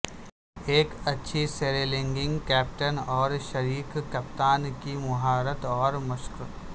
ایک اچھی سیریلنگنگ کیپٹن اور شریک کپتان کی مہارت اور مشق